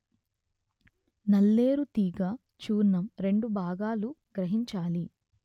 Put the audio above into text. నల్లేరు తీగ చూర్ణం రెండు భాగాలు గ్రహించాలి